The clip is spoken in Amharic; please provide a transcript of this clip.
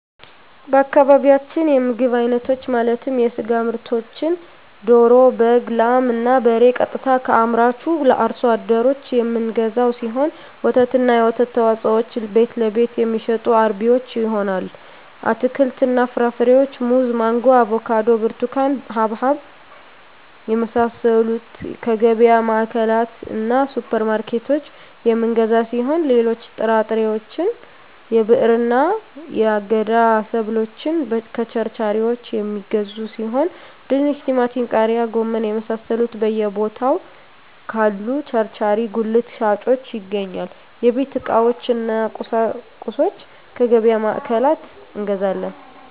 በአካባቢያችን የምግብ አይነቶች ማለትም የስጋ ምርቶችን ደሮ በግ ላም እና በሬ ቀጥታ ከአምራቹ አርሶ አደሮች የምንገዛው ሲሆን ወተትና የወተት ተዋፅኦዎችን ቤትለቤት የሚሸጡ አርቢዎች ይሆናል አትክልትና ፍራፍሬዎችን ሙዝ ማንጎ አቮካዶ ብርቱካን ሀባብ የመሳሰሉትከየገቢያ ማዕከላትእና ሱፐር ማርኬቶች የምንገዛ ሲሆን ሌሎች ጥራጥሬዎች የብዕርና የአገዳ ሰብሎችን ከቸርቻሪዎች የሚገዙ ሲሆን ድንች ቲማቲም ቃሪያ ጎመን የመሳሰሉት በየ ቦታው ካሉ ቸርቻሪ ጉልት ሻጮች ይገኛል የቤት ዕቃዎች እነ ቁሳቁሶች ከገቢያ ማዕከላት እንገዛለን